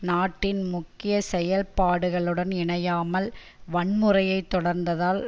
நாட்டின் முக்கிய செயற்பாடுகளுடன் இணையாமல் வன்முறையை தொடர்ந்ததால்